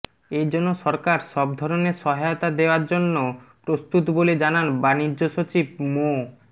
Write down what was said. এজন্য সরকার সব ধরনের সহায়তা দেওয়ার জন্য প্রস্তুত বলে জানান বাণিজ্যসচিব মো